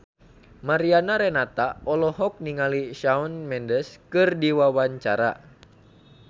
Mariana Renata olohok ningali Shawn Mendes keur diwawancara